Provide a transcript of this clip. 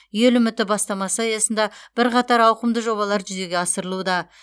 ел үміті бастамасы аясында бірқатар ауқымды жобалар жүзеге асырылуда